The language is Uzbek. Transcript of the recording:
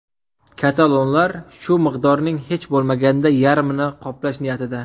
Katalonlar shu miqdorning hech bo‘lmaganda yarmini qoplash niyatida.